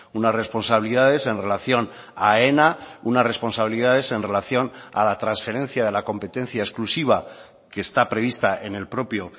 unas responsabilidades en relación a aena unas responsabilidades en relación a la transferencia de la competencia exclusiva que está prevista en el propio